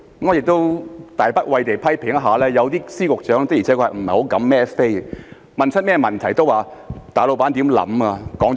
我亦冒大不韙地批評，有些司局長的確不敢"孭飛"；無論問他們甚麼問題，都會說大老闆想甚麼，說了甚麼。